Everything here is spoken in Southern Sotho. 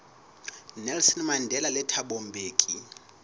nelson mandela le thabo mbeki